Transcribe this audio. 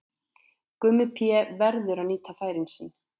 Gummi Pé verður að nýta færin sín!